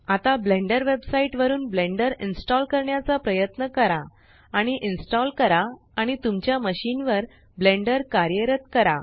आता Blender website वरुन Blender install करण्याचा प्रयत्न करा आणि इन्स्टॉल करा आणि तुमच्या मशीन वर ब्लेंडर कार्यरत करा